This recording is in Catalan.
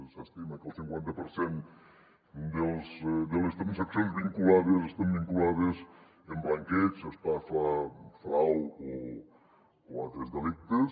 s’estima que el cinquanta per cent de les transaccions vinculades estan vinculades amb blanqueig estafa frau o altres delictes